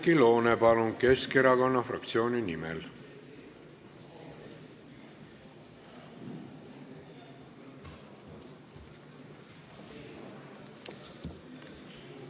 Oudekki Loone, palun, Keskerakonna fraktsiooni nimel!